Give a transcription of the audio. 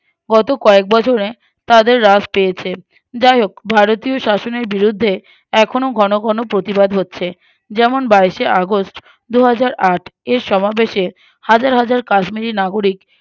গতকয়েক বছরে তাতে হ্রাস পেয়েছে যাই হোক ভারতীয় শাসনের বিরুধ্যে এখনো ঘন ঘন প্রতিবাদ হচ্ছে যেমন বাইশে August দুহাজারআট এর সমাবেশে হাজার হাজার কাশ্মীরি নাগরিক